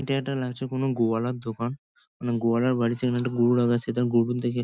এটা একটা লাগছে কোনো গোয়ালার দোকান। না গোয়ালার বাড়িতে এখানে একটা গরু রাখা আছে। তার গরু --